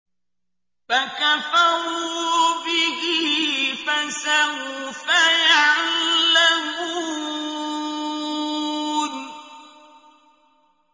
فَكَفَرُوا بِهِ ۖ فَسَوْفَ يَعْلَمُونَ